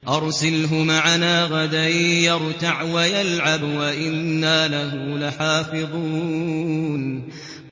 أَرْسِلْهُ مَعَنَا غَدًا يَرْتَعْ وَيَلْعَبْ وَإِنَّا لَهُ لَحَافِظُونَ